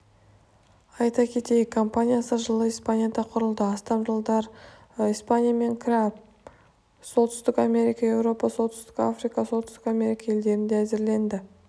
айта кетейік компаниясы жылы испанияда құрылды астам жобалар испания мен кариб солтүстік америка еуропа солтүстік африка оңтүстік америка елдерінде әзірленді